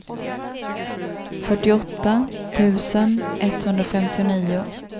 fyrtioåtta tusen etthundrafemtionio